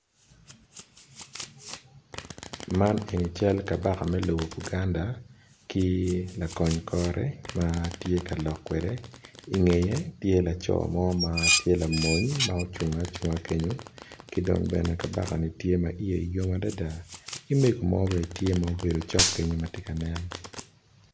Man eni cal kabaka me lobo buganda ki lakony kore matye ka lok kwede ingeye tye laco mo ma tye lamony ma ocungo acunga kenyo kidong bene kabaka ni tye ma iye yom adada ki mego bene tye ma obedo cok kenyo matye ka nen.